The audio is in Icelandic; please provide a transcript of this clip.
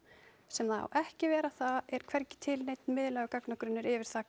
sem það á ekki að vera það er hvergi til neinn miðlægur gagnagrunnur yfir það